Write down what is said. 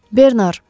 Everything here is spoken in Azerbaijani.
Bernar.